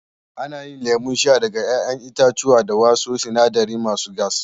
Ana yin lemon sha daga 'ya'yan itatuwa da wasu sinadarai masu gas.